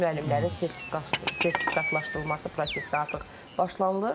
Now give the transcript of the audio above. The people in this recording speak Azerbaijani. Müəllimlərin sertifikatlaşdırılması prosesinə artıq başlanılır.